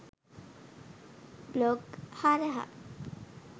blog හරහා